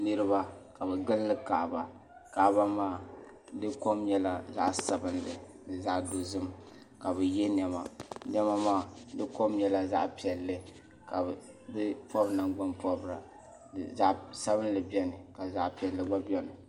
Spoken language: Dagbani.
Niriba ka bɛ gini kaɣaba kaba maa dikom nyɛla zaɣ'sabimli ni zaɣ' dozim ka bɛ yenema nema maa dikom nyɛla zaɣ' piɛli ka bi pobi naŋgban pɔbirigu zaɣ' sabinli bɛni ka zaɣ' piɛlli gba bɛni